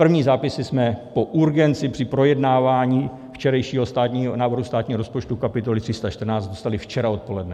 První zápisy jsme po urgenci při projednávání včerejšího návrhu státního rozpočtu, kapitoly 314, dostali včera odpoledne.